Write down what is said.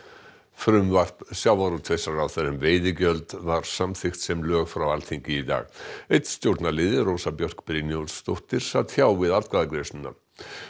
frumvarp sjávarútvegsráðherra um veiðigjöld var samþykkt sem lög frá Alþingi í dag einn stjórnarliði Rósa Björk Brynjólfsdóttir sat hjá við atkvæðagreiðsluna